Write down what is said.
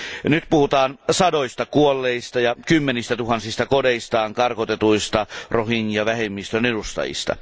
Nyt puhutaan sadoista kuolleista ja kymmenistä tuhansista kodeistaan karkotetuista rohingya vähemmistön edustajista.